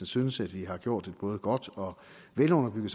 synes at vi har gjort et både godt og velunderbygget